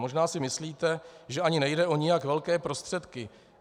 Možná si myslíte, že ani nejde o nijak velké prostředky.